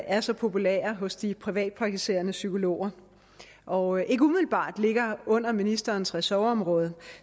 er så populære hos de privatpraktiserende psykologer og ikke umiddelbart ligger under ministerens ressortområde